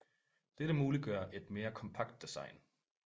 Dette muliggør et mere kompakt design